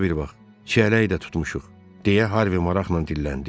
İşə bir vaxt çiyələyi də tutmuşuq deyə Harvi maraqla dilləndi.